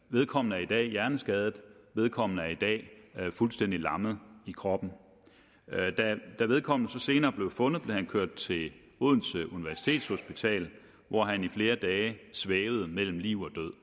vedkommende er i dag hjerneskadet vedkommende er i dag fuldstændig lam i kroppen da vedkommende så senere blev fundet blev han kørt til odense universitetshospital hvor han i flere dage svævede mellem liv og død